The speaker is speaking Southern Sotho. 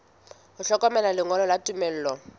ho hlokeha lengolo la tumello